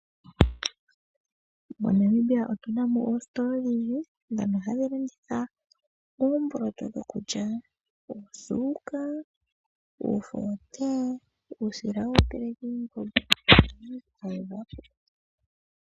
MoNamibia otu na mo oositola odhindji ndhono hadhi landitha oomboloto dhokulya, oosuuka, iifo yotee, uusila wokuteleka iiimbombo niinima yilwe.